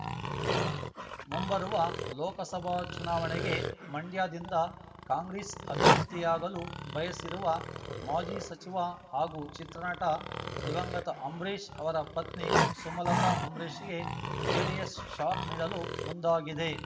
ಮುಂಬರುವ ಲೋಕಸಭಾ ಚುನಾವಣೆಗೆ ಮಂಡ್ಯದಿಂದ ಕಾಂಗ್ರೆಸ್ ಅಭ್ಯರ್ಥಿಯಾಗಲು ಬಯಸಿರುವ ಮಾಜಿ ಸಚಿವ ಹಾಗೂ ಚಿತ್ರನಟ ದಿವಂಗತ ಅಂಬರೀಶ್ ಅವರ ಪತ್ನಿ ಸುಮಲತ ಅಂಬರೀಶ್‌ಗೆ ಜೆಡಿಎಸ್ ಶಾಕ್ ನೀಡಲು ಮುಂದಾಗಿದೆ